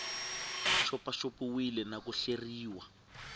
xopaxop iwile na ku hleriwa